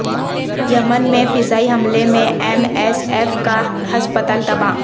یمن میں فضائی حملے میں ایم ایس ایف کا ہسپتال تباہ